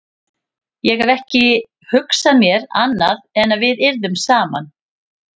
Ég hef ekki hugsað mér annað en að við yrðum saman.